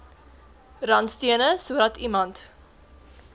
randstene sodat iemand